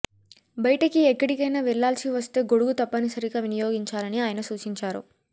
బయటకి ఎక్కడికైనా వెళ్లాల్సి వస్తే గొడుగు తప్పని సరిగా వినియోగించాలని ఆయన సూచించారు